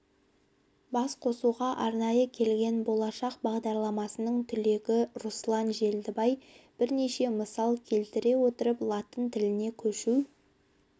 басқосуға арнайы келген болашақ бағдарламасының түлегі руслан желдібай бірнеше мысал келтіре отырып латын тіліне көшу